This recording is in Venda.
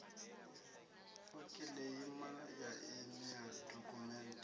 u kiḽeima ya emia dokhumenthe